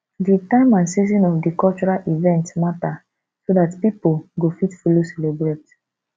di time and season of di cultural event matter so dat pipo go fit follow celebrate